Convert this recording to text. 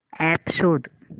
app शोध